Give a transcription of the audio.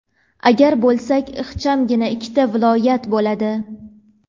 agar bo‘lsak ixchamgina ikkita viloyat bo‘ladi.